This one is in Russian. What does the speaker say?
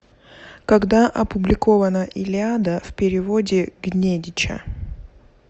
когда опубликована илиада в переводе гнедича